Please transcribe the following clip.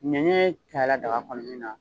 Ni ne ye tala daga kɔnɔn nin na